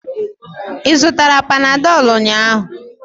Ị zụtara panadolu ụnyahụ?